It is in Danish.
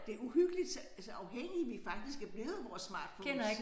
Det uhyggeligt så så afhængige vi faktisk er blevet af vores smartphones